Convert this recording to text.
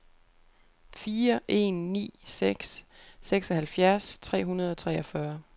fire en ni seks seksoghalvfjerds tre hundrede og treogfyrre